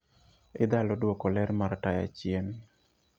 Idhalo dwoko ler mar taya chien